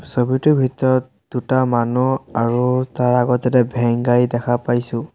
ছবিটোৰ ভিতৰত দুটা মানুহ আৰু তাৰ আগত এটা ভেন গাড়ী দেখা পাইছোঁ।